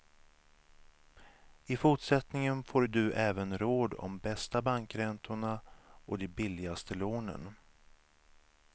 I fortsättningen får du även råd om bästa bankräntorna och de billigaste lånen.